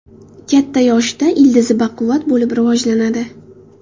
Katta yoshida ildizi baquvvat bo‘lib rivojlanadi.